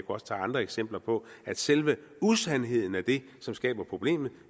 også tage andre eksempler på at selve usandheden er det som skaber problemet